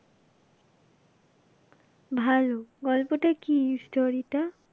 ভালো, গল্পটা কী story টা?